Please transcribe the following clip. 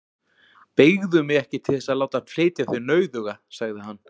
Beygðu mig ekki til þess að láta flytja þig nauðuga, sagði hann.